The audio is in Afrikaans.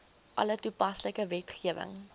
alle toepaslike wetgewing